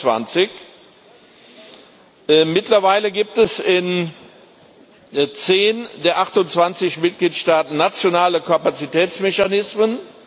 und 24. Mittlerweile gibt es in zehn der 28 Mitgliedstaaten nationale Kapazitätsmechanismen.